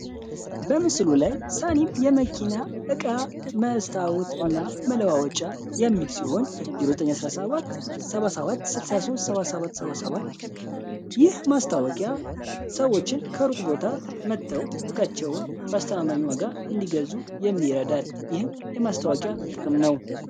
የመኪና መስታወት እና መለዋወጫ ሲሆን የ97 77 ይህ ማስታወቂያ ሰዎች ቦታ መጥተው እቃቸውን ዋጋ እንዲገዙ የሚረዳል የማስታወቂያ ጥቅም ነው